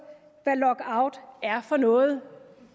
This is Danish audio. hvad lockout er for noget